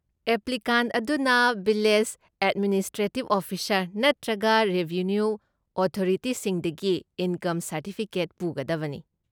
Applicant ꯑꯗꯨꯅ village ꯑꯦꯗꯃꯤꯅꯤꯁꯇ꯭ꯔꯦꯇꯤꯕ officer ꯅꯠꯇ꯭ꯔꯒ ꯔꯦꯚꯦꯅ꯭ꯌꯨ ꯑꯣꯊꯣꯔꯤꯇꯤꯁꯤꯡꯗꯒꯤ ꯏꯟꯀꯝ ꯁꯔꯇꯤꯐꯤꯀꯦꯠ ꯄꯨꯒꯗꯕꯅꯤ꯫